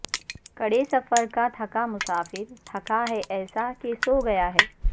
کڑے سفر کا تھکا مسافر تھکا ہے ایسا کہ سوگیا ہے